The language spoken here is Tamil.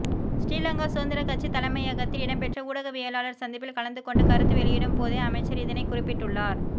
ஸ்ரீலங்கா சுதந்திர கட்சி தலைமையகத்தில் இடம்பெற்ற ஊடகவியலாளர் சந்திப்பில் கலந்துகொண்டு கருத்து வெளியிடும் போதே அமைச்சர் இதனை குறிப்பிட்டுள்ளார்